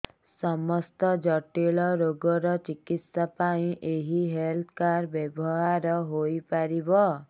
ସମସ୍ତ ଜଟିଳ ରୋଗର ଚିକିତ୍ସା ପାଇଁ ଏହି ହେଲ୍ଥ କାର୍ଡ ବ୍ୟବହାର ହୋଇପାରିବ